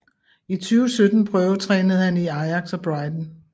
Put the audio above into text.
I 2017 prøvetrænede han i Ajax og Brighton